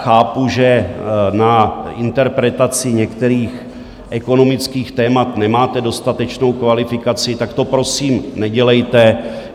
Chápu, že na interpretaci některých ekonomických témat nemáte dostatečnou kvalifikaci, tak to prosím nedělejte.